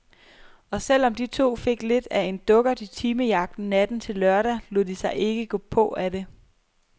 Og selv om de to fik lidt af en dukkert i timejagten natten til lørdag, lod de sig ikke gå på af det.